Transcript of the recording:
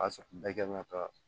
A y'a sɔrɔ bɛɛ kan ka taa